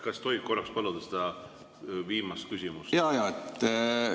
Kas tohib paluda seda viimast küsimust korrata?